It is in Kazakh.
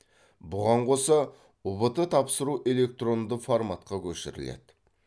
бұған қоса ұбт тапсыру электронды форматқа көшіріледі